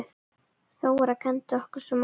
Þóra kenndi okkur svo margt.